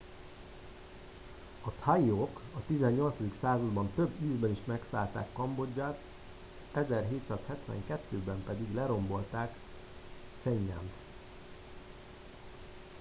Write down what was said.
a thaiok a 18. században több ízben is megszállták kambodzsát,1772-ben pedig lerombolták phnom phen-t